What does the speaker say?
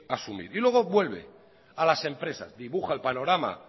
asumir y luego vuelve a las empresas dibuja el panorama